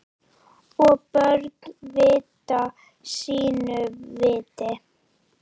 Og börn vita sínu viti.